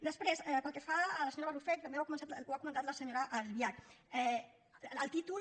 després pel que fa a la senyora barrufet i també ho ha comentat la senyora albiach el títol